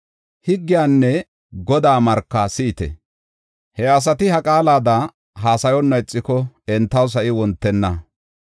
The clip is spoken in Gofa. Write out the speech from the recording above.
Higgiyanne Godaa marka si7ite! He asati ha qaalada haasayonna ixiko entaw sa7i wontenna.